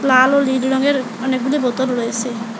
লাল ও নীল রঙের অনেকগুলি বোতল রয়েসে।